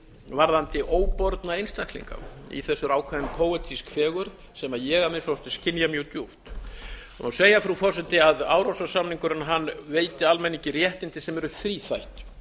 varðandi óborna einstaklinga í þessu er ákveðin póetísk fegurð sem ég að minnsta kosti skynja mjög djúpt það má segja frú forseti að árla samningurinn veiti almenningi réttindi sem eru þríþætt